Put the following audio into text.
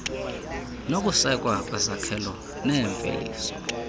nokusekwa kwezakhelo neemveliso